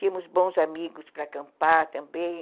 Tínhamos bons amigos para acampar também.